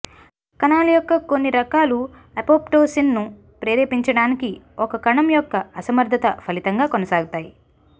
కణాల యొక్క కొన్ని రకాలు అపోప్టోసిస్ను ప్రేరేపించడానికి ఒక కణం యొక్క అసమర్థత ఫలితంగా కొనసాగుతాయి